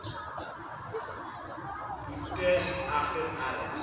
boetes egter eers